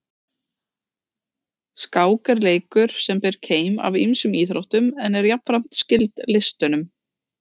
Skák er leikur sem ber keim af ýmsum íþróttum en er jafnframt skyld listunum.